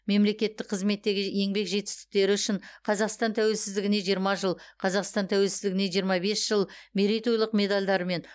мемлекеттік қызметтегі еңбек жетістіктері үшін қазақстан тәуелсіздігіне жиырма жыл қазақстан тәуелсіздігіне жиырма бес жыл мерейтойлық медальдарымен